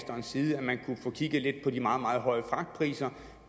man kunne få kigget lidt på de meget høje fragtpriser